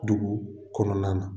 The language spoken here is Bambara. Dugu kɔnɔna na.